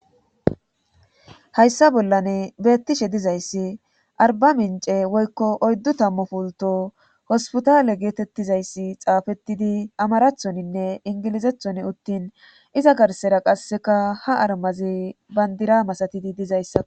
hayssa bollani betishe dizayssi arbamince woykko oyddu tammu pulto hospitale geetettizayssi xaafettidi amarathoninne ingilizethon uttin iza garsera qasseka ha armazi bandira masatidi dizayssa